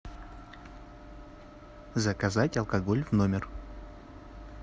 заказать алкоголь в номер